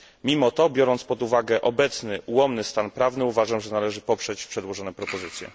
Mimo to, biorąc pod uwagę obecny, ułomny stan prawny, uważam, że należy poprzeć przedłożone propozycje.